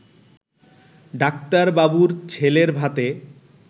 ডাক্তারবাবুর ছেলের ভাতে